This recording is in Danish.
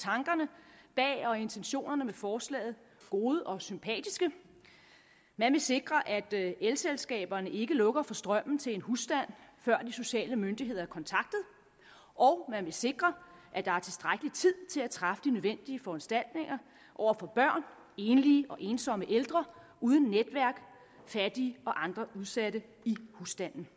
tankerne bag og intentionerne med forslaget gode og sympatiske man vil sikre at at elselskaberne ikke lukker for strømmen til en husstand før de sociale myndigheder er kontaktet og man vil sikre at der er tilstrækkelig tid til at træffe de nødvendige foranstaltninger over for børn enlige og ensomme ældre uden netværk fattige og andre udsatte i husstanden